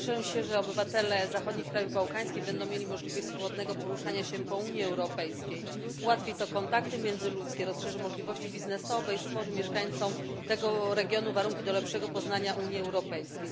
Cieszę się, że obywatele zachodnich krajów bałkańskich będą mieli możliwość swobodnego przemieszczania się po terytorium Unii Europejskiej. Ułatwi to kontakty międzyludzkie, rozszerzy możliwości biznesowe i stworzy mieszkańcom tego regionu warunki do lepszego poznania Unii Europejskiej.